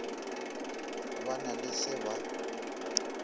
ba na le se ba